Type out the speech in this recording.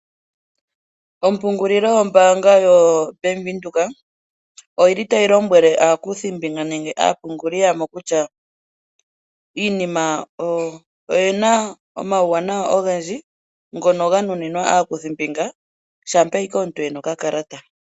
Ompungululo yombaanga yo bank Windhoek oyili tayi lombwele aakuthimbinga nenge aapunguli yamo kutya iinima oyina omauwanawa ogendji ngono ga nunimwa aakuthimbinga shampa owala omuntu ena okakalata.